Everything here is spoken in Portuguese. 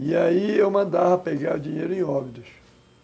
E aí eu mandava pegar o dinheiro em óbidos.